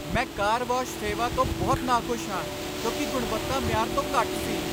ਮੈਂ car wash ਸੇਵਾ ਤੋਂ ਬਹੁਤ ਨਾਖੁਸ਼ ਹਾਂ ਕਿਉਂਕਿ ਗੁਣਵੱਤਾ ਮਿਆਰ ਤੋਂ ਘੱਟ ਸੀ।